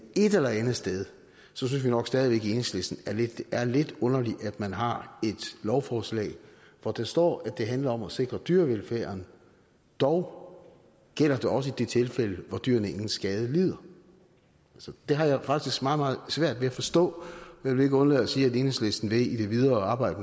et eller andet sted synes vi nok stadig enhedslisten at det er lidt underligt at man har et lovforslag hvor der står at det handler om at sikre dyrevelfærden dog gælder det også i de tilfælde hvor dyrene ingen skade lider det har jeg faktisk meget meget svært ved forstå jeg vil ikke undlade at sige at enhedslisten i det videre arbejde